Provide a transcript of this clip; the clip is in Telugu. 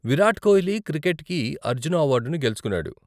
విరాట్ కోహ్లీ క్రికెట్కి అర్జున అవార్డును గెలుచుకున్నాడు.